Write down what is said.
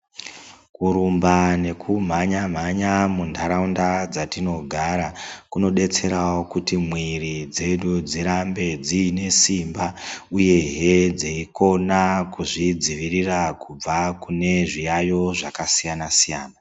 Kurumba nekumhanya mhanya mundau dzatinogara kunodetsrawo kuti miiri dzedu dzirambe dzine simba uyeehe dzeyikona kuzvidzivirira kune zviyayiyo zvakasiyana siyana.